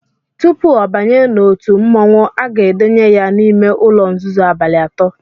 Tupu ọ banye n’otu mmọnwụ a ga-edenye ya n’ime ụ̣̣lọ̣ nzuzo abalị atọ